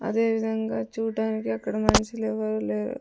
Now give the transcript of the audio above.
అదేవిధంగా చూడడానికి అక్కడ మనిషి లేవరు లేరు.